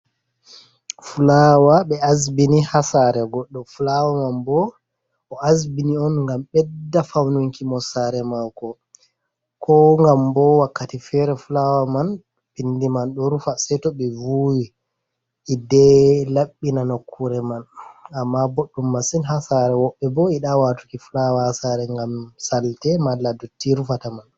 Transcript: Fulaawa ɓe asbini ha saare goɗɗo, fulawa man bo o asbini on ngam ɓedda faununki mo saare maako ko ngam bo wakkati feere fulawa man pindi man ɗo rufa sei to ɓe vuwwi hidde laɓɓina nokkure man amma boɗɗum masin ha saare, woɓɓe bo yiɗaa waatuki fulawa ha saare ngam salte mala dotti rufata man.